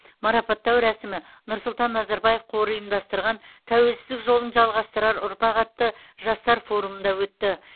марапаттау рәсімі нұрсұлтан назарбаев қоры ұйымдастырған тәуелсіздік жолын жалғастырар ұрпақ атты жастар форумында өтті